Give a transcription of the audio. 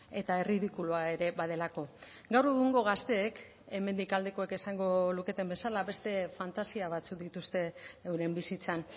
eta erridikulua ere badelako gaur egungo gazteek hemendik aldekoek esango luketen bezala beste fantasia batzuk dituzte euren bizitzan